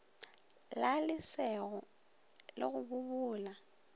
la lesego le go bobola